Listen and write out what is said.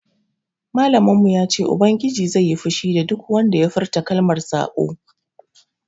Malamin mu ya ce ubangiji zai yi fushi da duk wanda ya furta kalmar saɓo